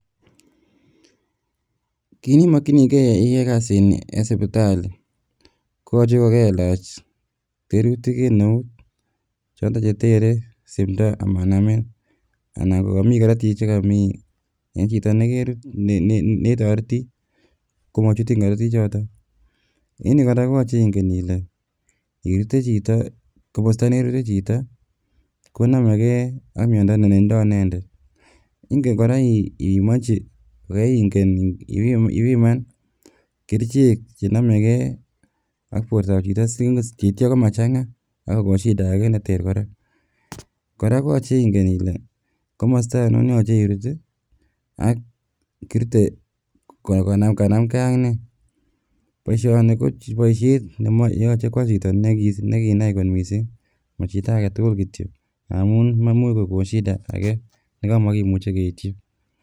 kit nebokchinigee iyoe kasini eng sibitali koyoche kokelach berutik eng eut choton chetere simdoo ama namin anan ko komi korootik eng chito neketoreti komotinyi korotichuton. En yu kora koyoche Inge Ile komosto nerute chito konomegee ak miondo netindo inendet, ingen kora ipimonchi oingen ipiman kerichek chenomegee ak bortotab chitoo, sikomachanga kerichek ak Kokon shida age koraa. Kora koyoche ingen Ile komosto onion neyoche irut ak kirute ko kanamgee ak nee. Boishoni Koboishiet neyoche kwo chito nekinai kot missing ,mochito agetugul kityok ngamun imuuch kokon shida age nemokimuche ketyii